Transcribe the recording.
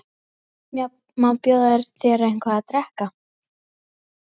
Má bjóða þér eitthvað að drekka?